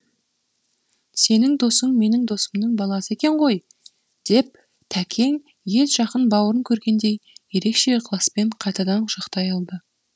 сенің досың менің досымның баласы екен ғой деп тәкең ет жақын бауырын көргендей ерекше ықыласпен қайтадан құшақтай алды